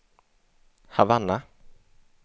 Havanna